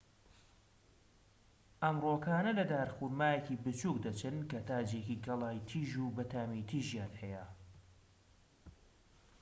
ئەم ڕووەکانە لە دارخورمایەکی بچووک دەچن کە تاجێکی گەڵای تیژ و بەتامی تیژیان هەیە